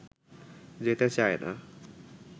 যেতে চায় না